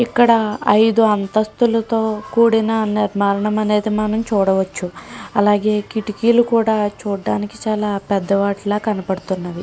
ఇక్కడ ఐదు అంతస్తులు తో కూడిన నిర్మాణాన్ని మనం చూడవచ్చు కిటికీలు కూడా చూడడానికి పెద్దవాటి లాగా కనబడుతూ ఉన్నది.